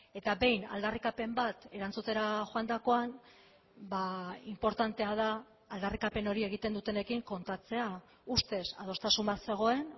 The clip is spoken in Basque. eta behin aldarrikapen bat erantzutera joandakoan inportantea da aldarrikapen hori egiten dutenekin kontatzea ustez adostasun bat zegoen